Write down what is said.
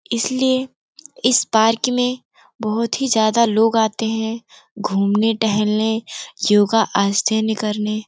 इसलिए इस पार्क में बहुत ही ज्यादा लोग आते हैं घूमने टहलने योगा आश्चन करने ।